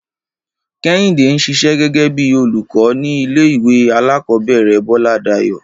Kéhìndé n sisé gégé bí olùkó ní ilé ìwé alákòóbèrè Bóládayò